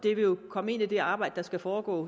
vil jo komme ind i det videre arbejde der skal foregå